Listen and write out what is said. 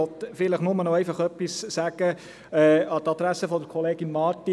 Ich möchte vielleicht nur noch etwas sagen an die Adresse von Kollegin Marti.